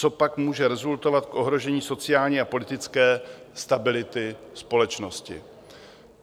To pak může rezultovat v ohrožení sociální a politické stability společnosti.